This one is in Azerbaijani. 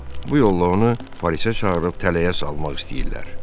Bu yolla onu polisə çağırıb tələyə salmaq istəyirlər.